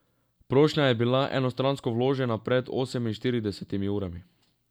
Prošnja je bila enostransko vložena pred oseminštiridesetimi urami.